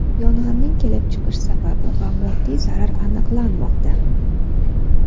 Yong‘inning kelib chiqish sababi va moddiy zarar aniqlanmoqda.